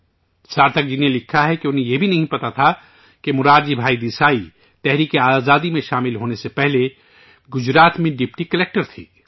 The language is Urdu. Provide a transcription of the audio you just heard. سارتھک جی نے لکھا ہے کہ انہیں یہ بھی نہیں معلوم تھا کہ مورارجی بھائی دیسائی جدوجہد آزادی میں شامل ہونے سے پہلے گجرات میں ڈپٹی کلکٹر تھے